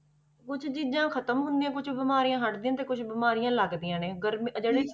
ਕੁੱਝ ਚੀਜ਼ਾਂ ਖ਼ਤਮ ਹੁੰਦੀਆਂ, ਕੁਛ ਬਿਮਾਰੀਆਂ ਹਟਦੀਆਂ ਤੇ ਕੁਛ ਬਿਮਾਰੀਆਂ ਲੱਗਦੀਆਂ ਨੇ ਗਰਮੀ ਅਹ ਜਿਹੜੇ